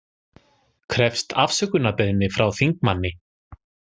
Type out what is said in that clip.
Krefst afsökunarbeiðni frá þingmanni